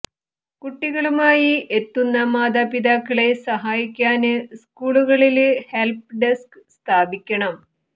കുട്ടികളുമായി എത്തുന്ന മാതാപിതാക്കളെ സഹായിക്കാന് സ്കൂളുകളില് ഹെല്പ്പ് ഡെസ്ക് സ്ഥാപിക്കണം